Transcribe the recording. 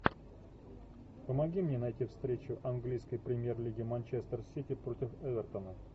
помоги мне найти встречу английской премьер лиги манчестер сити против эвертона